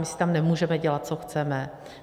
My si tam nemůžeme dělat, co chceme.